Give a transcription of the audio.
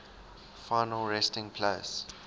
final resting place